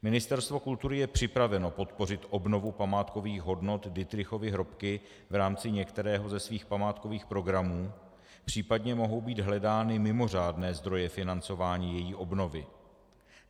Ministerstvo kultury je připraveno podpořit obnovu památkových hodnot Dittrichovy hrobky v rámci některého ze svých památkových programů, případně mohou být hledány mimořádné zdroje financování její obnovy.